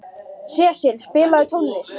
Sesil, spilaðu tónlist.